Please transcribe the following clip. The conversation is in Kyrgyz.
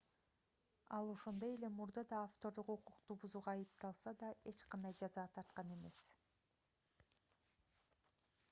ал ошондой эле мурда да автордук укукту бузууга айыпталса да эч кандай жаза тарткан эмес